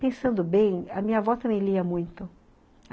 Pensando bem, a minha avó também lia muito.